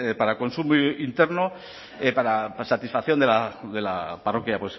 para consumo interno para satisfacción de la parroquia